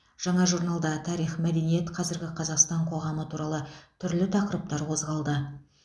жаңа журналда тарих мәдениет қазіргі қазақстан қоғамы туралы түрлі тақырыптар қозғалды